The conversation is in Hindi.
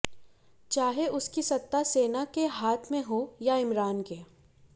चाहे उसकी सत्ता सेना के हाथ में हो या इमरान के